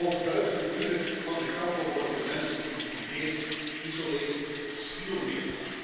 Ook buiten de muren van de kampen worden de mensen geïntimideerd, geïsoleerd, bespioneerd.